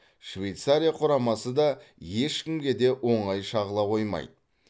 швейцария құрамасы да ешкімге де оңай шағыла қоймайды